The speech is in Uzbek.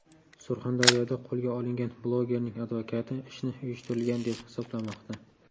Surxondaryoda qo‘lga olingan blogerning advokati ishni uyushtirilgan deb hisoblamoqda.